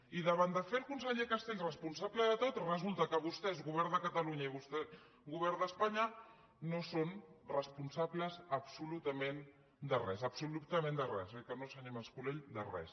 i davant de fer el conseller castells responsable de tot resulta que vostès govern de catalunya i vostès govern d’espanya no són responsables absolutament de res absolutament de res oi que no senyor mas colell de res